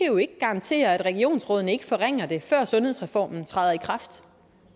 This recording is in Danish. jo ikke garantere at regionsrådene ikke forringer det før sundhedsreformen træder i kraft